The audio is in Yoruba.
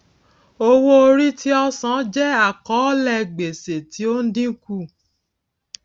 owóorí tí ọ sàn jẹ àkọọlẹ gbèsè tí ó ń dínkù